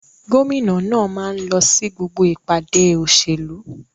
Gómìnà náà máa ń lọ sí gbogbo ìpàdé òṣèlú.